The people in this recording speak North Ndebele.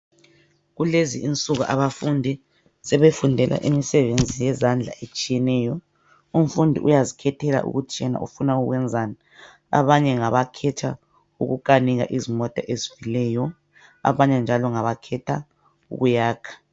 Kulezi insuku abafundi sebefundela imisebenzi yezandla etshiyeneyo. Umfundi uyazikhethela ukuthi yena ufuna ukwenzani. Abanye ngabakhetha ukukanika izimota ezifileyo abanye njalo ngabakhetha ukuyakha.